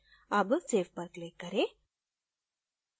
अब save पर click करें